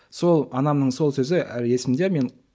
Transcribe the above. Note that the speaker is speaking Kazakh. сол анамның сол сөзі әлі есмде мен